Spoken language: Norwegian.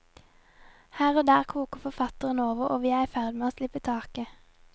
Her og der koker forfatteren over, og vi er i ferd med å slippe taket.